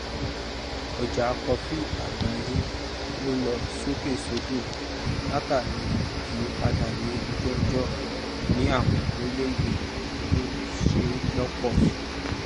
ọjà kofí àgbáyé lọ sókèsódò látàríi ìyípadà ní ojúọjọ ni àwọn orílẹèdè tí ṣe lọpọ